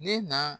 Ne na